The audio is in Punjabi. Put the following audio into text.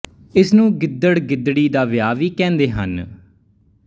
ਇਸਨੂੰ ਗਿੱਦੜ ਗਿੱਦੜੀ ਦਾ ਵਿਆਹ ਵੀ ਕਹਿੰਦੇ ਹਨ